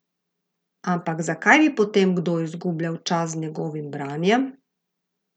Ampak zakaj bi potem kdo izgubljal čas z njegovim branjem?